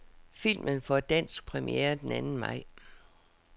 Filmen får dansk premiere den anden maj.